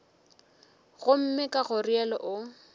gomme ka go realo o